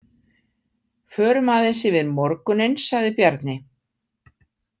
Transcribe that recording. Förum aðeins yfir morguninn, sagði Bjarni.